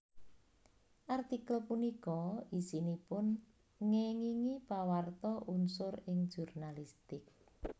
Artikel punika isinipun ngéngingi Pawarta unsur ing jurnalistik